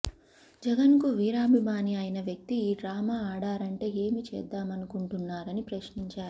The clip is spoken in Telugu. జగన్కు వీరాభిమాని అయిన వ్యక్తి ఈ డ్రామా ఆడారంటే ఏమి చేద్దామనుకుంటున్నారని ప్రశ్నించారు